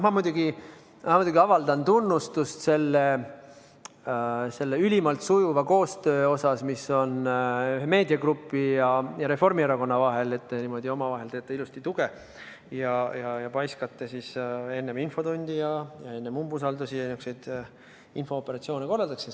Ma muidugi avaldan tunnustust selle ülimalt sujuva koostöö eest, mis toimub Ekspress Meedia ja Reformierakonna vahel, et te niimoodi omavahel ilusti tuge teete ning enne infotundi ja umbusaldust niisuguseid infooperatsioone korraldate.